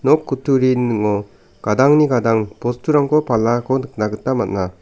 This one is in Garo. nok kutturini ning·o gadangni gadang bosturangko palako nikna gita man·a.